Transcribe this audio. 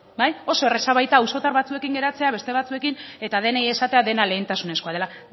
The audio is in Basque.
oso erreza baita auzotar batzuekin geratzea beste batzuekin eta denei esatea dena lehentasunezkoa dela